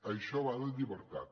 això va de llibertat